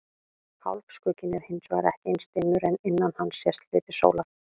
Hálfskugginn er hins vegar ekki eins dimmur en innan hans sést hluti sólar.